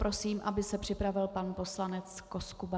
Prosím, aby se připravil pan poslanec Koskuba.